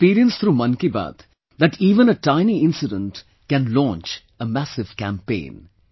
I've experienced through 'Mann Ki Baat' that even a tiny incident can launch a massive campaign